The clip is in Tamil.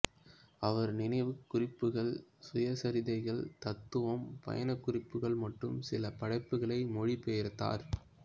அவர் நினைவுக் குறிப்புகள் சுயசரிதைகள் தத்துவம் பயணக் குறிப்புகள் மற்றும் சில படைப்புகளை மொழிபெயர்த்தார்